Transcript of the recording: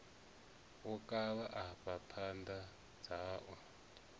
wo kavha afha phapha dzau